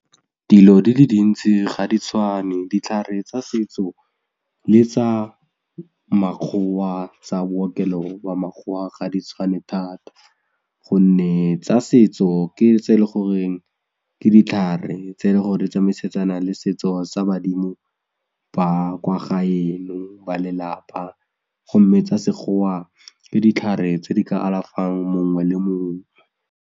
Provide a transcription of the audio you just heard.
Dilo di le dintsi ga di tshwane ditlhare tsa setso le tsa makgowa tsa bookelo wa makgowa ga di tshwane thata gonne tsa setso ke tse e leng gore ke ditlhare tse e leng gore di tsamaisana le setso sa badimo ba kwa gaeno ba lelapa gomme tsa sekgowa ke ditlhare tse di ka alafang mongwe le mongwe.